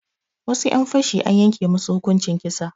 Wasu 'yan fashi an yanke musu hukunci kisa